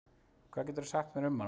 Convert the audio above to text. Hvað geturðu sagt mér um hana?